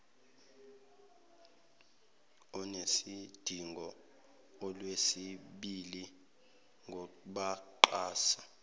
onesidingo olwesibili ngabaxhasi